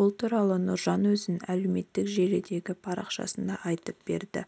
бұл туралы нұржан өзінің әлеуметтік желідегі парақшасында айтып берді